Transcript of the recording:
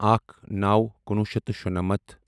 اکھ نَوو کُنوُھ شیٚتھ تہٕ شُنَمتھ